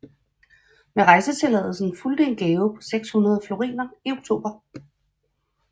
Med rejsetilladelsen fulgte en gave på 600 floriner i oktober